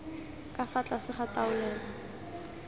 ka fa tlase ga taolelo